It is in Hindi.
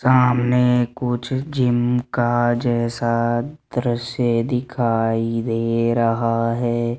सामने कुछ जिम का जैसा दृश्य दिखाई दे रहा है।